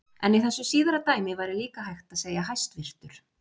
En í þessu síðara dæmi væri líka hægt að segja hæstvirtur.